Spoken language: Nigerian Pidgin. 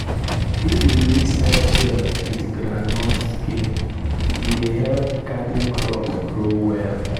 if you mix egg shell with groundnut skin e dey help garden crops grow well.